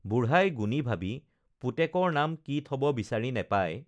বুঢ়াই গুণি ভাবি পুতেকৰ নাম কি থব বিচাৰি নেপাই